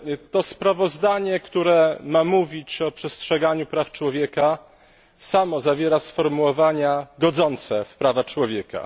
To sprawozdanie, które ma mówić o przestrzeganiu praw człowieka, samo zawiera sformułowania godzące w prawa człowieka.